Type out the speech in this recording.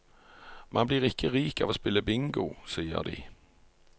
Man blir ikke rik av å spille bingo, sier de.